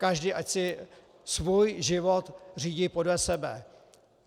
Každý ať si svůj život řídí podle sebe.